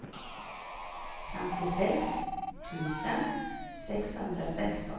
femtiosex tusen sexhundrasexton